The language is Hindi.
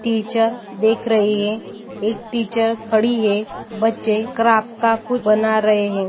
टीचर देख रही है एक टीचर खड़ी है बच्चे क्राफ्ट का कुछ बना रहे है।